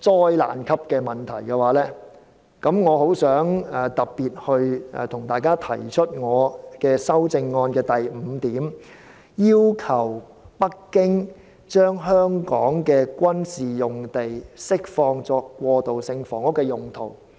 災難級的問題，那麼我特別請大家支持我的修正案第五點："要求北京政府將香港的軍事用地釋放作過渡性房屋的用途"。